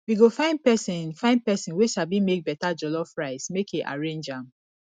we go find pesin find pesin wey sabi make beta jollof rice make e arrange am